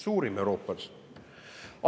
Suurim Euroopas.